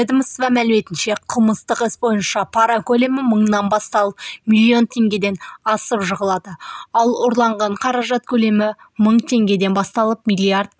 ведомство мәліметінше қылмыстық іс бойынша пара көлемі мыңнан басталып миллион теңгеден асып жығылады ал ұрланған қаражат көлемі мың теңгеден басталып миллиард